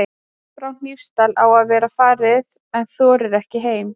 Fólkið frá Hnífsdal á að vera farið en þorir ekki heim.